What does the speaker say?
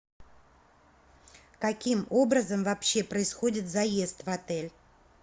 каким образом вообще происходит заезд в отель